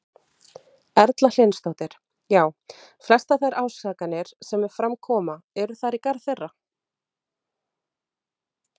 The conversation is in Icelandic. Erla Hlynsdóttir: Já, flestar þær ásakanir sem fram koma, eru þær í garð þeirra?